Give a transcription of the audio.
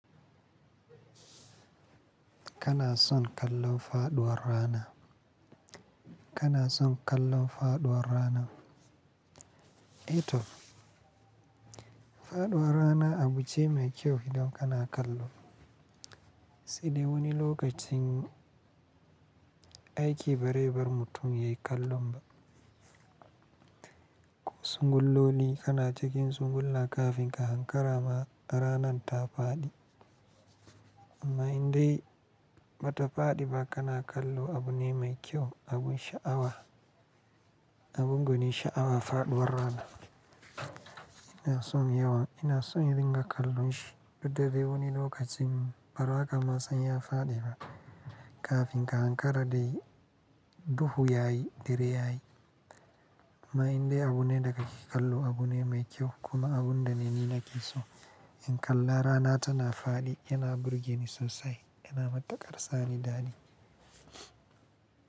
Kana son kallo faɗuwar rana? Kana son kallo faɗuwar rana? A toh, Faɗuwar rana abu ce mai kyau idan kana kallo. Sai dai wani lokacin aiki barebar mutum ya yi kallon ba. Sunguloli kana cikin sungulla kafin ka hankara ma ranan ta faɗi. Amma in dai ba ta faɗi ba kana kallo abu ne mai kyau, abun sha'awa. Abun gani sha'awa faɗuwar rana. Ina son yawan, ina son in dinga kallon shi. Daddare wani lokacin ba raka ma san ya faɗi ba. Kafin ka hankara dai duhu ya yi, dare ya yi. Amma in dai abu ne da ka ke kallo abu ne mai kyau kuma abun da ni na ke so. In kalla rana tana faɗi yana burge ni sosai, yana mataƙarsani daɗi.